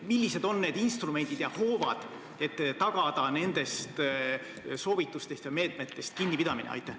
Millised on need instrumendid ja hoovad, et tagada nendest soovitustest ja meetmetest kinnipidamine?